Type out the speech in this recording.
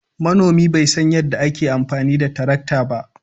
Manomi bai san yadda ake amfani da tarakta ba.